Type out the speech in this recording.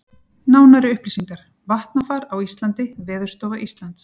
Nánari upplýsingar: Vatnafar á Íslandi Veðurstofa Íslands.